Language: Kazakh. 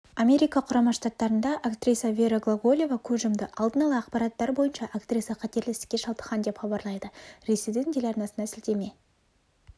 америка құрама штаттарында актриса вера глаголева көз жұмды алдын ала ақпараттар бойынша актриса қатерлі ісікке шалдыққан деп хабарлайды ресейдің телеарнасына сілтеме